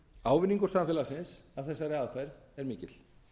ávinningur samfélagsins af þessari aðferð er mikil